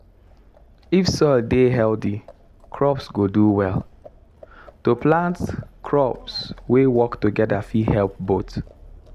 if soil dey healthy crops go do well. to plant crops wey work together fit help both.